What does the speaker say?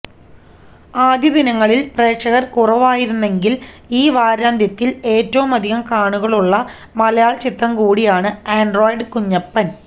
ആദ്യദിനങ്ങളില് പ്രേക്ഷകര് കുറവായിരുന്നെങ്കില് ഈ വാരാന്ത്യത്തില് ഏറ്റവുമധികം കാണികളുള്ള മലയാളചിത്രം കൂടിയാണ് ആന്ഡ്രോയ്ഡ് കുഞ്ഞപ്പന്